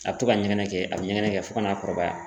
A bɛ to ka ɲɛgɛnɛ kɛ, a bɛ ɲɛgɛnɛ kɛ fo ka n'a kɔrɔbaya.